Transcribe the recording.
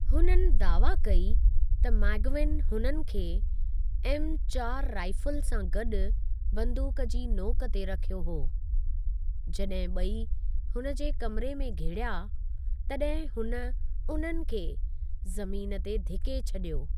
हुननि दावा कई त मैग्विगन हुननि खे एमचारि राइफल सां गॾु बंदूक जी नोक ते रखियो हो, जड॒हिं ब॒ई हुन जे कमरे में घिड़िया तड॒हिं हून उन्हनि खे ज़मीन ते धिके छडियो।